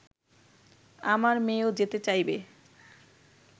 আমার মেয়েও যেতে চাইবে